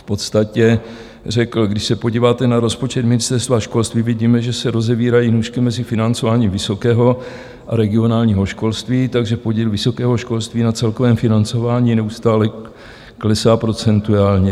V podstatě řekl: "Když se podíváte na rozpočet Ministerstva školství, vidíme, že se rozevírají nůžky mezi financováním vysokého a regionálního školství, takže podíl vysokého školství na celkovém financování neustále klesá procentuálně.